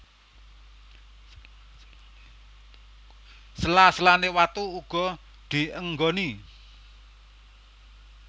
Sela selane watu uga dienggoni